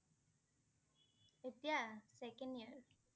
এতিয়া? second year